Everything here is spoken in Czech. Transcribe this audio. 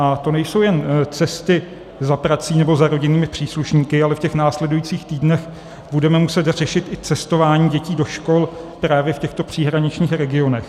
A to nejsou jen cesty za prací nebo za rodinnými příslušníky, ale v těch následujících týdnech budeme muset řešit i cestování dětí do škol právě v těchto příhraničních regionech.